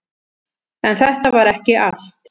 En þetta var ekki allt.